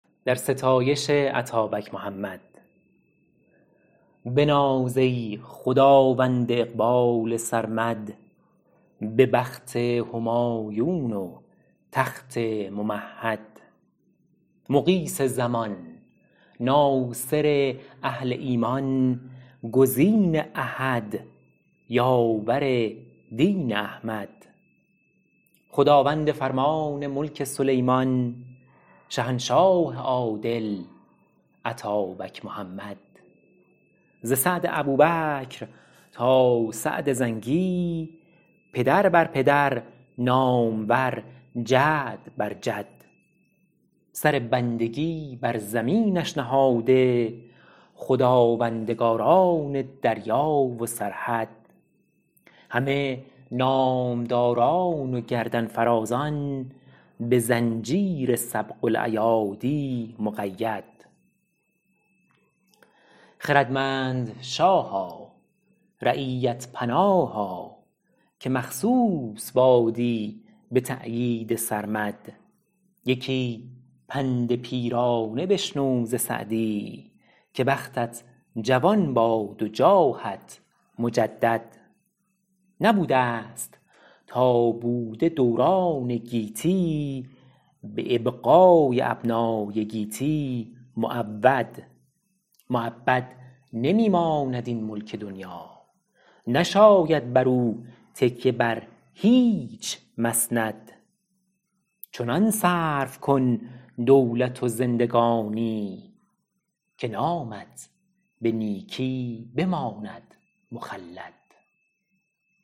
بناز ای خداوند اقبال سرمد به بخت همایون و تخت ممهد مغیث زمان ناصر اهل ایمان گزین احد یاور دین احمد خداوند فرمان ملک سلیمان شهنشاه عادل اتابک محمد ز سعد ابوبکر تا سعد زنگی پدر بر پدر نامور جد بر جد سر بندگی بر زمینش نهاده خداوندگاران دریا و سرحد همه نامداران و گردن فرازان به زنجیر سبق الایادی مقید خردمند شاها رعیت پناها که مخصوص بادی به تأیید سرمد یکی پند پیرانه بشنو ز سعدی که بختت جوان باد و جاهت مجدد نبودست تا بوده دوران گیتی به ابقای ابنای گیتی معود مؤبد نمی ماند این ملک دنیا نشاید بر او تکیه بر هیچ مسند چنان صرف کن دولت و زندگانی که نامت به نیکی بماند مخلد